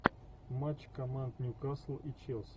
матч команд ньюкасл и челси